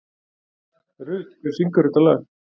Rut, hver syngur þetta lag?